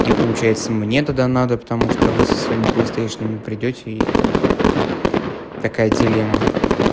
и получается мне тогда надо потому что вы со своими плейстейшенами придёте и будет такая дилемма